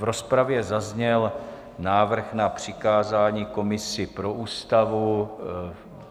V rozpravě zazněl návrh na přikázání komisi pro Ústavu.